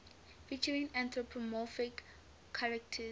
featuring anthropomorphic characters